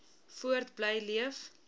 voort bly leef